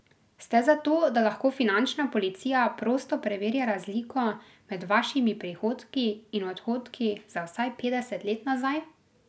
Ste za to, da lahko finančna policija prosto preverja razliko med vašimi prihodki in odhodki za vsaj petdeset let nazaj?